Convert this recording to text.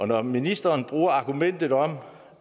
når ministeren bruger argumentet om